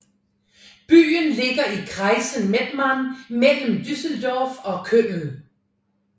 Byen ligger i kreisen Mettmann mellem Düsseldorf og Köln